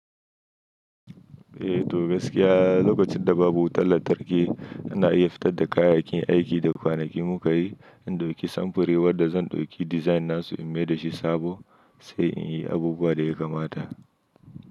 Eh to gaskia lokacin da babu wutar lantarki ina iya fitar da kayayyakin aiki da kwanaki muka yi, in dauki samfuri wadda zan dauki design nasu in mai dashi sabo sai in yi abubuwa da ya kamata.